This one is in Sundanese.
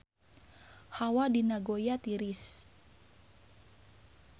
Hawa di Nagoya tiris